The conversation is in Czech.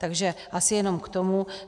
Takže asi jenom k tomu.